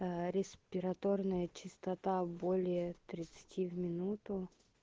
респираторная частота более тридцати в минуту